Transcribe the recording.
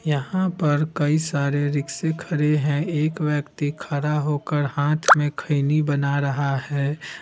यहाँ पर कई सारे रिक्शे खड़े है एक व्यक्ति खड़ा होकर हाथ में खैनी बना रहा है।